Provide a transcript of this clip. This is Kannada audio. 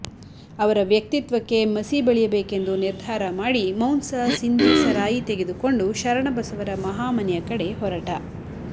ಅವರ ವ್ಯಕ್ತಿತ್ವಕ್ಕೆ ಮಸಿ ಬಳಿಯಬೇಕೆಂದು ನಿರ್ಧಾರ ಮಾಡಿ ಮೌಂಸ ಸಿಂದಿ ಸರಾಯಿ ತೆಗೆದುಕೊಂಡು ಶರಣಬಸವರ ಮಹಾಮನೆಯ ಕಡೆ ಹೊರಟ